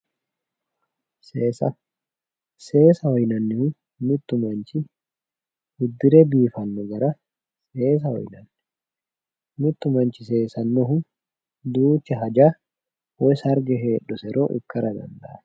Seesaho yinannihu mittu manchi uddire biifanno garaati yaate qoleno mittu manchi mitte hajara woy sarge heedhusiro ikkara dandaanno.